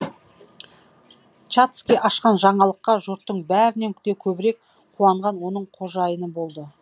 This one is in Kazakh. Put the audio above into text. шацкий ашқан жаңалыққа жұрттың бәрінен де көбірек қуанған оның қожайыны болды